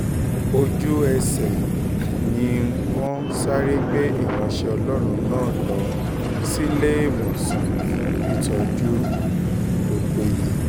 ojú-ẹsẹ̀ ni um wọ́n sáré gbé ìránṣẹ́ ọlọ́run náà lọ síléemọ̀sán fún ìtọ́jú um tó péye